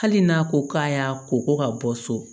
Hali n'a ko k'a y'a ko ko ka bɔ so